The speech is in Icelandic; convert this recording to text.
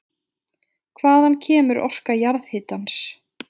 Hvaðan kemur orka jarðhitans?